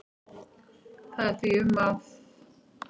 Það er því um að